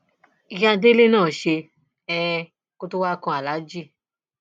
ìyá délé náà ṣe um kó tóó wáá kan aláàjì